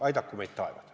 Aidaku meid taevas!